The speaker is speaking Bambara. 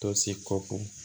Tose kɔko